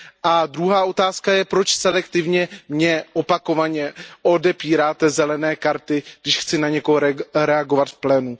A druhá otázka je, proč selektivně mně opakovaně odepíráte modré karty, když chci na někoho reagovat v plénu?